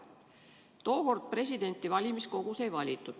Tookord presidenti valimiskogus ei valitud.